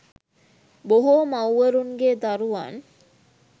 බොහෝ මවුවරුන්ගේ දරුවන්